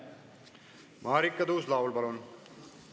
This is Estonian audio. Marika Tuus-Laul, palun!